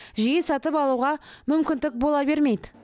жиі сатып алуға мүмкіндік бола бермейді